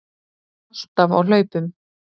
Alltaf á hlaupum.